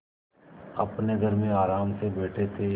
अपने घर में आराम से बैठे थे